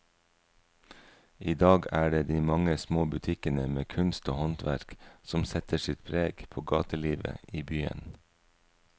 I dag er det de mange små butikkene med kunst og håndverk som setter sitt preg på gatelivet i byen.